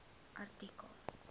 artikel